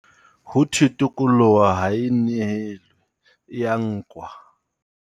Ho thwe tokoloho ha e nehelwe, e ya nkwa.